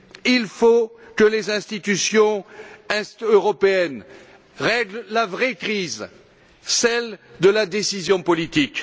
Il faut que les institutions européennes remédient à la vraie crise, celle de la décision politique.